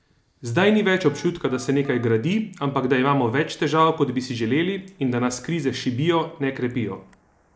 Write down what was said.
Zdaj ni več občutka, da se nekaj gradi, ampak da imamo več težav kot bi si želeli in da nas krize šibijo, ne krepijo.